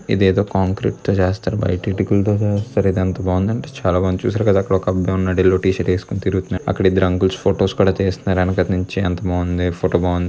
ఇది ఎదో కాంక్రీట్ తో చేస్తారు. బయట ఇటుకులతో చేస్తారు. ఇది ఎంత బావుంది అంటే చాలా బావుంది. చూసారుగా అక్కడ ఒక అబ్బాయి ఉన్నాడు. యెల్లో టి షర్ట్ వేసుకొని తిరుగుతున్నాడు. అక్కడ ఇద్దరు అంకుల్స్ ఫొటోస్ తీస్తున్నారు వెనకాతల నుంచి.అంతా బావుంది ఫోటో బావుణ్--